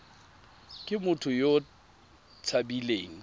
ke motho yo o tshabileng